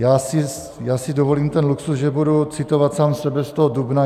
Já si dovolím ten luxus, že budu citovat sám sebe z toho dubna.